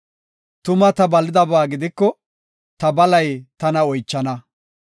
Tuma ta balidaba gidiko, ta balay tana oychana.